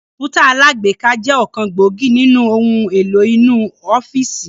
Kọ̀npútà alágbéká jẹ ọ̀kan gbòógì nínú ohun èlò inú ọ́fíìsì